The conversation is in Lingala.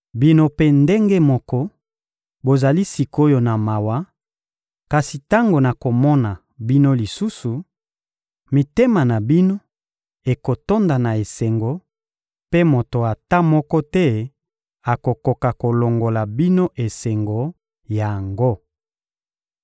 Bino mpe ndenge moko, bozali sik’oyo na mawa; kasi tango nakomona bino lisusu, mitema na bino ekotonda na esengo, mpe moto ata moko te akokoka kolongola bino esengo yango.